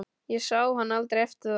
Ég sá hann aldrei eftir það.